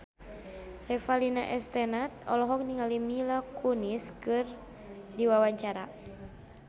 Revalina S. Temat olohok ningali Mila Kunis keur diwawancara